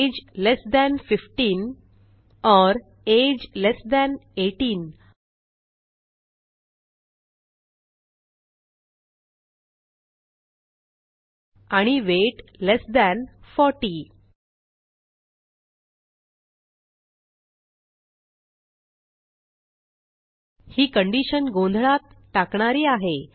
age less than 15 or age less than 18 आणि weight less than 40 ही condition गोंधळात टाकणारी आहे